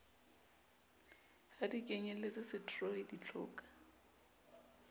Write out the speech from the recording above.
ha di kenyeletse setroi ditlhoka